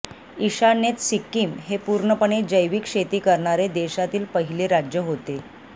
ईशान्येत सिक्कीम हे पूर्णपणे जैविक शेती करणारे देशातील पहिले राज्य होते